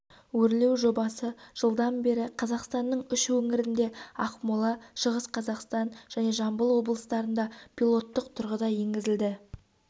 өрлеу жобасы жылдан бері қазақстанның үш өңірінде ақмола шығыс қазақстан және жамбыл облыстарында пилоттық тұрғыда енгізілді